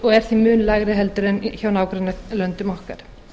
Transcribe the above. og er því mun lægra heldur en hjá nágrannalöndum okkar